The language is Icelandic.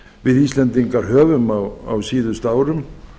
við íslendingar höfum á síðustu árum